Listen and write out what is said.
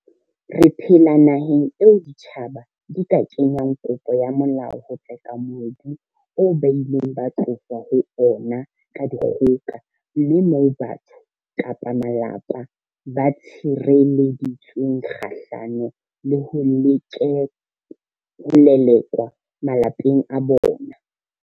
Re phela naheng eo ditjhaba di ka kenyang kopo ya molao ho tseka mobu oo ba ileng ba tloswa ho ona ka dikgoka, mme moo batho kapa malapa ba tshirele-ditsweng kgahlano le ho lelekwa malapeng a bona.